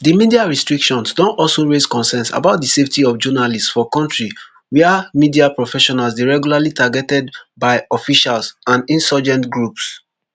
di media restrictions don also raise concerns about di safety of journalists for kontri wia media professionals dey regularly targeted by officials and insurgent groups